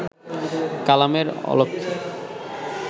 কালামের অলক্ষে